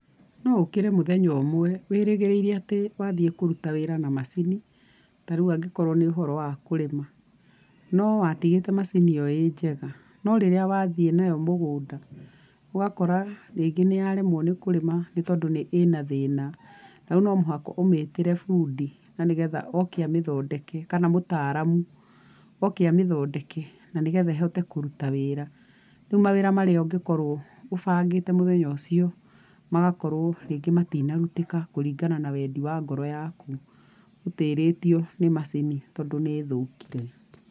No ũkĩre mũthenya ũmwe wĩrĩgirĩire atĩ nĩũraruta wĩra na macini, tarĩu angĩkorwo nĩ ũhoro wa kũrĩma, no watigĩte macini ĩyo ĩnjega no rĩrĩa wathie nayo mũgũnda ũgakora rĩngĩ nĩyaremwo nĩ kurĩma, nĩ tondũ ĩna thĩna na no mũhaka ũmĩtĩre fundi na nĩgetha oke amĩthondeke kana mũtaramu, oke amĩthodeke na nĩgetha ĩhote kũruta wĩra rĩu mawĩra marĩa ũngĩkorwo ũbangĩte mũthenya ũcio, magakorwo rĩngĩ matinarutĩka kũringana na wendi wa ngoro yaku, ũtĩrĩtio nĩ macini tondũ nĩĩthũkire.